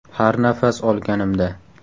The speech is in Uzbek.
Har nafas olganimda.